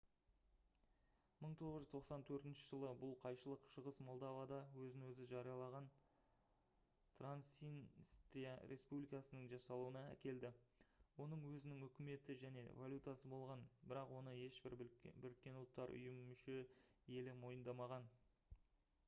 1994 жылы бұл қайшылық шығыс молдовада өзін өзі жариялаған транснистрия республикасының жасалуына әкелді оның өзінің үкіметі және валютасы болған бірақ оны ешбір бұұ мүше елі мойындамаған